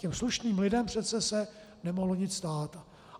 Těm slušným lidem se přece nemohlo nic stát.